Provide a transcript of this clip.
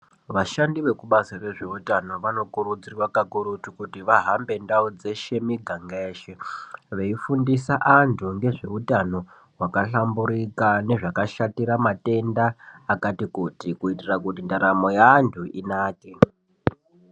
Vashandi vekubazi rezveutano vanokurudzirwa kakurutu kuti vahambe ndau dzeshe miganga yeshe veifundisa vantu ngezveutano hwakahlamburika nezvakashatira matenda akati kuti. Kuitira kuti ndaramo yevantu inake.